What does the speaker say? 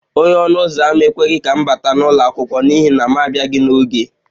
Onye ọnụ ụzọ ámá ekweghị ka m bata n'ụlọ akwụkwọ n'ihi na m abịaghi n'oge